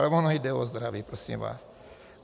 Ale ono jde o zdraví, prosím vás.